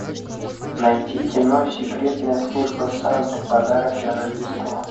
найти кино секретная служба санты подарок на рождество